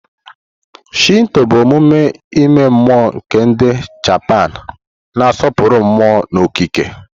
Shinto bụ omume ime mmụọ nke ndi Japanu, na-asọpụrụ mmụọ na okike.